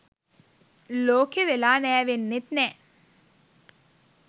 ලෝකෙ වෙලා නෑවෙන්නෙත් නෑ.